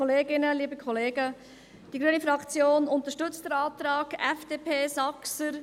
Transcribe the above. Die grüne Fraktion unterstützt den Antrag FDP/Saxer.